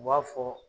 U b'a fɔ